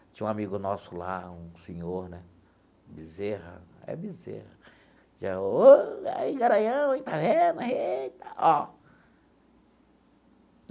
Tinha um amigo nosso lá, um senhor né, Bezerra, é Bezerra, dizia, ô e aí, garanhão hein, está vendo? Eita ó.